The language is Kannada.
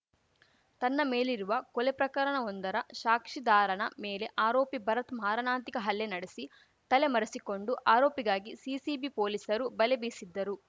ತನ್ನ ಮೇಲಿರುವ ಕೊಲೆ ಪ್ರಕರಣವೊಂದರ ಶಾಕ್ಷಿದಾರನ ಮೇಲೆ ಆರೋಪಿ ಭರತ್‌ ಮಾರಣಾಂತಿಕ ಹಲ್ಲೆ ನಡೆಸಿ ತಲೆ ಮರೆಸಿಕೊಂಡು ಆರೋಪಿಗಾಗಿ ಸಿಸಿಬಿ ಪೊಲೀಸರು ಬಲೆ ಬೀಸಿದ್ದರು